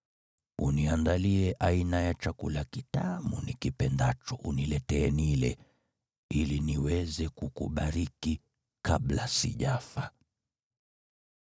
Uniandalie aina ya chakula kitamu nikipendacho uniletee nile, ili niweze kukubariki kabla sijafa.”